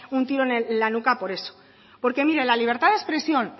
un tiro en la nuca por eso porque mire la libertad de expresión